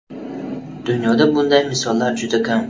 Dunyoda bunday misollar juda kam.